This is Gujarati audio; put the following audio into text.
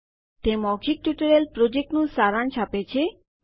તે મૌખિક ટ્યુટોરીયલ પ્રોજેક્ટનું સારાંશ આપે છે